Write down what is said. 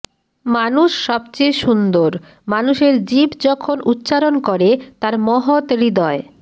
মানুষ সবচেয়ে সুন্দর মানুষের জিভ যখন উচ্চারণ করে তার মহৎ হৃদয়